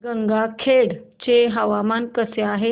गंगाखेड चे हवामान कसे आहे